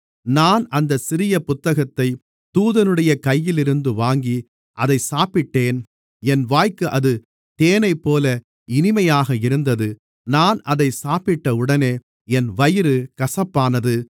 நான் அந்தச் சிறிய புத்தகத்தைத் தூதனுடைய கையிலிருந்து வாங்கி அதைச் சாப்பிட்டேன் என் வாய்க்கு அது தேனைப்போல இனிமையாக இருந்தது நான் அதைச் சாப்பிட்டவுடனே என் வயிறு கசப்பானது